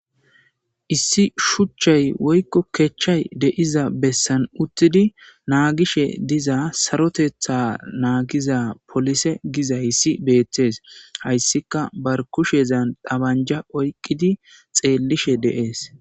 Issi shuuchchay woykko keththay deizza bessan uttidi nagishe diiza saaroteththa nagiza polise gizayssii bettes hayssikka ba kushezan ba banjja oyqidi xellishenne de'es